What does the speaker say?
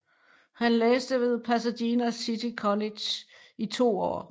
Han læste ved Pasadena City College i to år